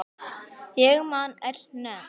En ég man öll nöfn.